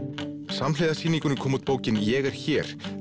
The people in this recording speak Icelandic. samhliða sýningunni kom út bókin ég er hér